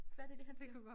Kan være det det han siger